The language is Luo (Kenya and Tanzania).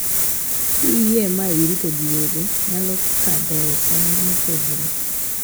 Kiye ma irito gi wede nyalo kadhoe sand mopogore